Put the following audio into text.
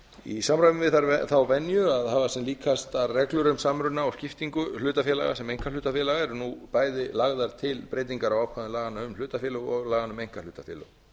í samræmi við þá venju að hafa sem líkastar reglur um samruna og skiptingu hlutafélaga sem einkahlutafélaga eru nú bæði lagðar til breytingar á ákvæðum laganna um hlutafélög og laganna um einkahlutafélög